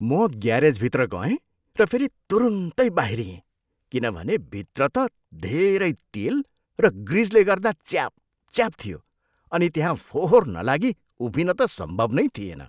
म ग्यारेजभित्र गए र फेरि तुरुन्दै बाहिरिएँ किनभने भित्र त धेरै तेल र ग्रिजले गर्दा च्यापच्याप थियो अनि त्यहाँ फोहोर नलागी उभिन त सम्भव नै थिएन।